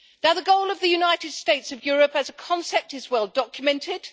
The goal of the United States of Europe as a concept is well documented.